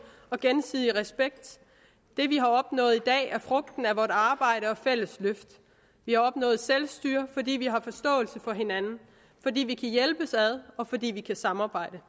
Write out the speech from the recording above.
og gensidig respekt det vi har opnået i dag er frugten af vort arbejde og fælles løft vi har opnået selvstyre fordi vi har forståelse for hinanden fordi vi kan hjælpes ad og fordi vi kan samarbejde